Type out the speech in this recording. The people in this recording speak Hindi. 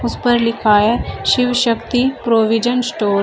इस पर लिखा है शिव शक्ति प्रोविजन स्टोर ।